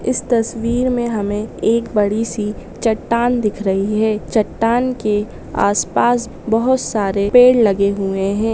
इस तस्वीर में हमें एक बड़ी सी चटान दिख रही है चाटन के आस पास बहुत सारे पेड़ लगे हुवे है